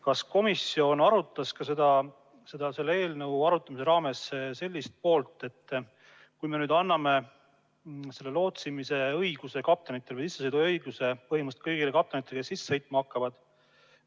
Kas komisjon arutas ka selle eelnõu raames, mis saab, kui me anname lootsimise õiguse kaptenitele või sissesõiduõiguse põhimõtteliselt kõigile kaptenitele, kes sadamatesse sisse sõitma hakkavad?